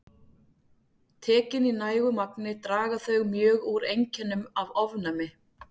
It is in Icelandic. Tekin í nægu magni draga þau mjög úr einkennum af ofnæmi.